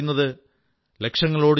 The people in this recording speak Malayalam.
ചിഡിയോം സോം മേം ബാജ തുഡാഊം